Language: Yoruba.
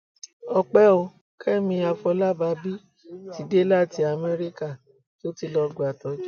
ọpẹ ò kẹmi àfọlábàbí ti dé láti amẹríkà tó ti lọọ gbàtọjú